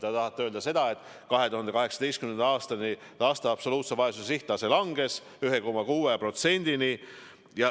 Te tahate öelda seda, et 2018. aastaks laste absoluutse vaesuse näitaja langes 1,6%-ni.